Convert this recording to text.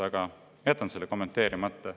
Aga jätan selle kommenteerimata.